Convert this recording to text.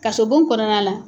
Kasobon kɔnɔna la.